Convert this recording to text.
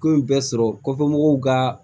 Ko in bɛɛ sɔrɔ kɔfɛ mɔgɔw ka